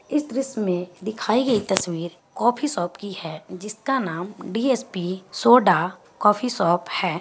इस दृश्य मे दिखाई गई तस्वीर काफी शॉप की हैं जिस का नाम D _S P soda coffee shop हैं।